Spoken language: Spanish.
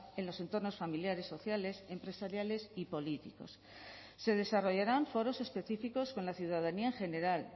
en los entornos familiares sociales empresariales y políticos se desarrollarán foros específicos con la ciudadanía en general